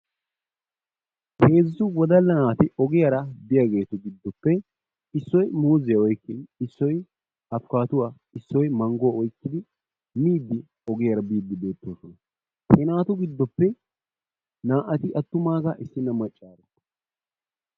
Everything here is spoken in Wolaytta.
Heezzu wodalla naati ogiyara biyageetu giddoppe issoy muuziya oyqqiwuttiis, issoy apukkaadduwa, issoy mangguwa oyqqidi miiddi ogiyara biiddi beettoosona. He naatu giddoppe naa"ati attumaagaa issinna maccaaro.